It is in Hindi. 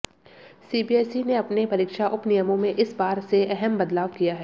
सीबीएसई ने अपने परीक्षा उपनियमों में इस बार से अहम बदलाव किया है